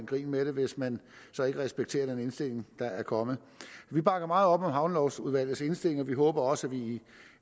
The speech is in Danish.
grin med det hvis man så ikke respekterer den indstilling der er kommet vi bakker meget op om havnelovudvalgets indstilling og vi håber også at vi i